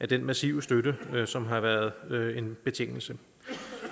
den massive støtte som har været været en betingelse